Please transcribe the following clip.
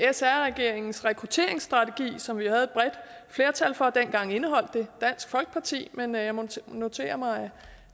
sr regeringens rekrutteringsstrategi som vi havde et bredt flertal for og dengang indeholdt det dansk folkeparti men jeg må notere mig